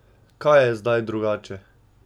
Kaj je zdaj drugače?